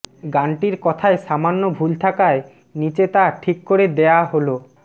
গানটির কথায় সামান্য ভুল থাকায় ণিচে তা ঠিক করে দেয়া হলোঃ